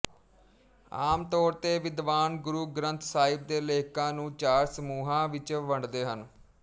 ਆਮ ਤੌਰ ਤੇ ਵਿਦਵਾਨ ਗੁਰੂ ਗਰੰਥ ਸਾਹਿਬ ਦੇ ਲੇਖਕਾਂ ਨੂੰ ਚਾਰ ਸਮੂਹਾਂ ਵਿੱਚ ਵੰਡਦੇ ਹਨ